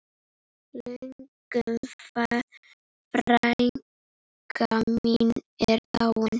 Ingunn frænka mín er dáin.